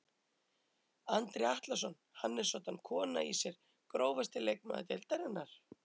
Andri Atlason hann er soddan kona í sér Grófasti leikmaður deildarinnar?